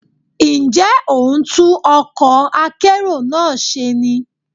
Ǹjẹ́ ò ń tún ọkọ̀ akérò náà ṣe ni?